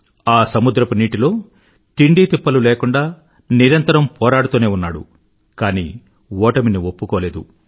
ఆ సముద్రపు నీటిలో తిండితిప్పలు లేకుండా నిరంతరం పోరాడుతూనే ఉన్నాడు కానీ ఓటమిని ఒప్పుకోలేదు